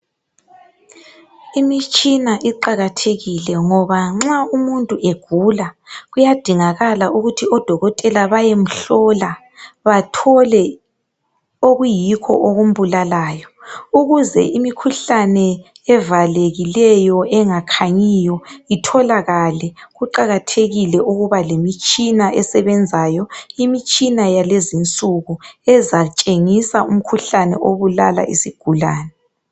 Imitshina iqakathekile ngoba nxa umuntu egula kuyadingakala ukuthi odokotela bayemhlola bathole okuyikho okumbulalayo. Ukuze imikhuhlane evalekileyo engakhanyiyo itholakale kuqakathekile ukuba lemitshina esebenzayo imtshina yakulezi insuku ezatshengisa imkhuhlane ebulala isigulane.